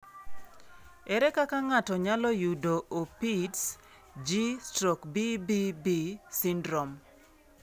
Ere kaka ng'ato nyalo yudo Opitz G/BBB syndrome?